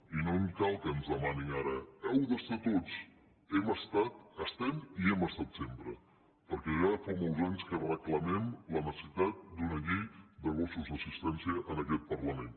i no cal que ens demanin ara hi heu d’estar tots hi hem estat hi estem i hi hem estat sempre perquè ja fa molts anys que reclamem la necessitat d’una llei de gossos d’assistència en aquest parlament